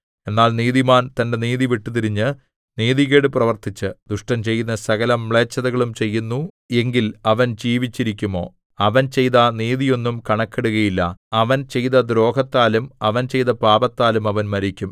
എന്നാൽ നീതിമാൻ തന്റെ നീതി വിട്ടുതിരിഞ്ഞ് നീതികേട് പ്രവർത്തിച്ച് ദുഷ്ടൻ ചെയ്യുന്ന സകലമ്ലേച്ഛതകളും ചെയ്യുന്നു എങ്കിൽ അവൻ ജീവിച്ചിരിക്കുമോ അവൻ ചെയ്ത നീതിയൊന്നും കണക്കിടുകയില്ല അവൻ ചെയ്ത ദ്രോഹത്താലും അവൻ ചെയ്ത പാപത്താലും അവൻ മരിക്കും